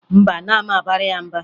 Mba, anaghị m abara ya mba